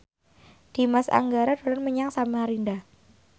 Dimas Anggara dolan menyang Samarinda